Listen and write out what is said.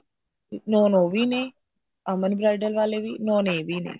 known ਉਹ ਵੀ ਨੇ ਅਮਨ bridal ਵਾਲੇ ਵੀ known ਇਹ ਵੀ ਨੇ